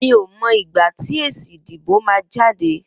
Mi ó mọ igbá ti ésí idibó mà jàdé